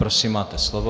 Prosím, máte slovo.